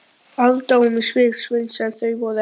Aðdáun í svip Sveins en þau voru ekki ein.